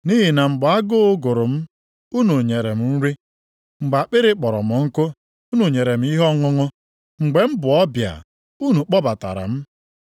Nʼihi na mgbe agụụ gụrụ m unu nyere m nri. Mgbe akpịrị kpọrọ m nkụ unu nyere m ihe ọṅụṅụ. Mgbe m bụ ọbịa unu kpọbatara m.